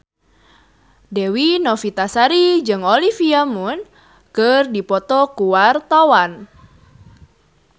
Dewi Novitasari jeung Olivia Munn keur dipoto ku wartawan